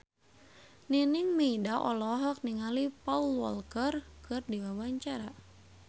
Nining Meida olohok ningali Paul Walker keur diwawancara